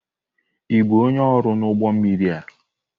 Ị bụ onye ọrụ n'ụgbọ mmiri a?